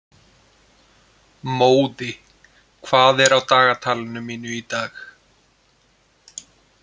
Móði, hvað er á dagatalinu mínu í dag?